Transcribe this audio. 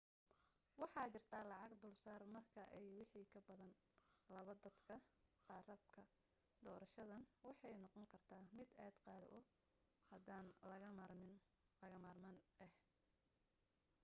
waxaa jirta lacag dulsaar marka ay wixii ka badan laba dadka rakaabka doorashadan waxay noqon karta mid aad qaali u hadan laga maarmaan ah